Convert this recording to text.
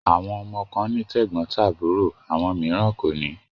Àwọn ọmọ kan ní tẹ́gbọ́ntàbúrò àwọn mìíràn kò ní.